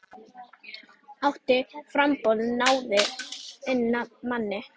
Átta framboð náðu inn manni.